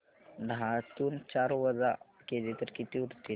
दहातून चार वजा केले तर किती उरतील